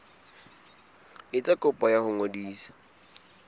etsa kopo ya ho ngodisa